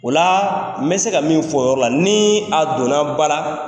Ola n bɛ se ka min fɔ o yɔrɔ la, kataa ni a donna ba ra